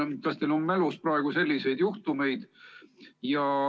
Kas teil on mälus praegu selliseid juhtumeid?